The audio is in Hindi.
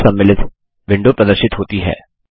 पाठ सम्मिलित विंडो प्रदर्शित होती है